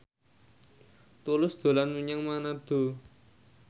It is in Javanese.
Tulus dolan menyang Manado